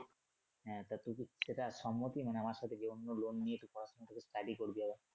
হ্যা তা তুই যদি সেটা সম্মতি মানে আমার সাথে যেয়ে অন্য loan নিয়ে তুই পড়াশুনা করবি study করবি আবার।